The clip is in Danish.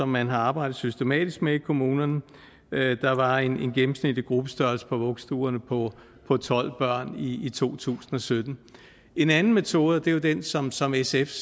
man har arbejdet systematisk med i kommunerne der var en gennemsnitlig gruppestørrelse på vuggestuerne på tolv børn i to tusind og sytten en anden metode og det er den som som sfs